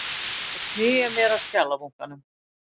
Og sný mér að skjalabunkanum.